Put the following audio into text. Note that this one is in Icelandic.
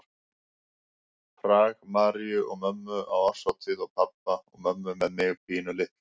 Prag, Maríu og mömmu á árshátíð og pabba og mömmu með mig pínulitla.